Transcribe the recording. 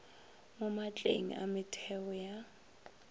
mo maatleng a metheo ya